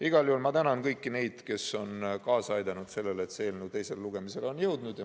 Igal juhul ma tänan kõiki neid, kes on kaasa aidanud, et see eelnõu teisele lugemisele on jõudnud.